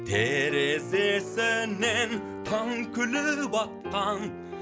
терезесінен таң күліп атқан